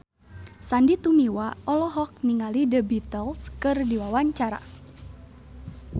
Sandy Tumiwa olohok ningali The Beatles keur diwawancara